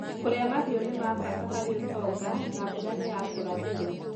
kũrĩa mahiũ nĩ ma bata harĩ ũtonga, na mbũra nĩ ya kũrathĩrũo